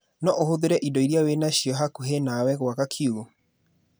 Noũhũthĩre indo iria wĩna cio hakuhĩ nawe gũaka kiugũ